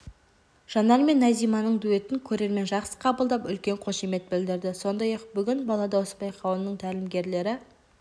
жанар мен назиманың дуэтін көрермен жақсы қабылдап үлкен қошемет білдірді сондай-ақ бүгін бала дауысы байқауының тәлімгерлері